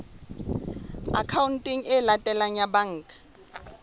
akhaonteng e latelang ya banka